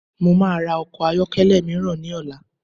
Mo maa ra ọkọ̀ ayọ́kẹ́lẹ́ míràn ní ọ̀la